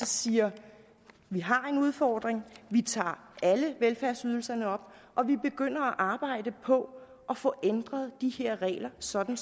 siger vi har en udfordring vi tager alle velfærdsydelserne op og vi begynder at arbejde på at få ændret de her regler sådan